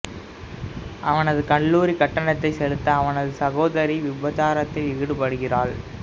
அவனது கல்லூரி கட்டணம் செலுத்த அவனது சகோதரி விபச்சாரத்தில் ஈடுபடுகிறாள்